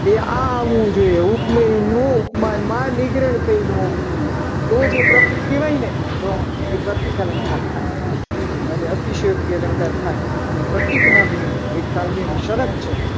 એ આવવું જોઈએ. ઉપમેયનો ઉપમાનમાં નિગ્રહ થયેલું હોવું જોઈએ. તો જ એ પ્રતીક કહેવાય. ને તો એ પ્રતિક અલંકાર થાય. અરે અતિશયોક્તિ અલંકાર થાય. અને પ્રતીક નામના એક કાવ્યની શરત છે.